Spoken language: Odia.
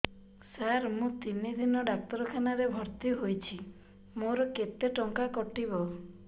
ସାର ମୁ ତିନି ଦିନ ଡାକ୍ତରଖାନା ରେ ଭର୍ତି ହେଇଛି ମୋର କେତେ ଟଙ୍କା କଟିବ